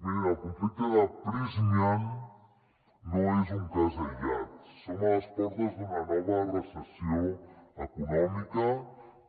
mirin el conflicte de prysmian no és un cas aïllat som a les portes d’una nova recessió econòmica